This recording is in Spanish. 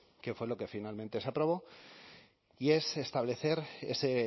que fue lo que finalmente se aprobó y es establecer ese